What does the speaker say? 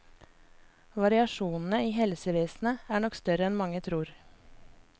Variasjonene i helsevesenet er nok større enn mange tror.